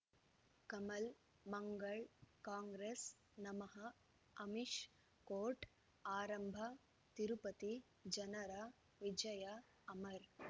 ಕಮಲ್ ಮಂಗಳ್ ಕಾಂಗ್ರೆಸ್ ನಮಃ ಅಮಿಷ್ ಕೋರ್ಟ್ ಆರಂಭ ತಿರುಪತಿ ಜನರ ವಿಜಯ ಅಮರ್